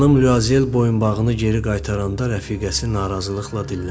Xanım Luazel boyunbağını geri qaytaranda rəfiqəsi narazılıqla dilləndi.